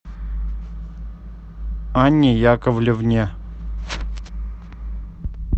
анне яковлевне